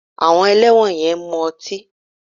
Àwọn ẹlẹ́wọ̀n yẹn ń mu ọtí